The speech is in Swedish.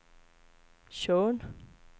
Tjörn